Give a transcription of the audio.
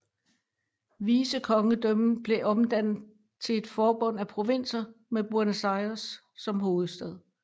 Vicekongedømmet blev omdannet til et forbund af provinser med Buenos Aires som hovedstad